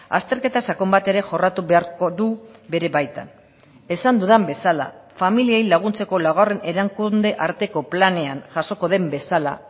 azterketa sakon bat ere jorratu beharko du bere baitan esan dudan bezala familiei laguntzeko laugarren erakunde arteko planean jasoko den bezala